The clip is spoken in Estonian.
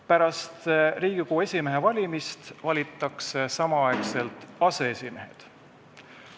Pärast Riigikogu esimehe valimist valitakse samaaegselt aseesimehed.